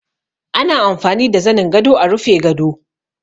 Ana amfani da zanin gado a rufe gado